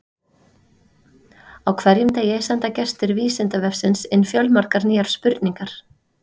Á hverjum degi senda gestir Vísindavefsins inn fjölmargar nýjar spurningar.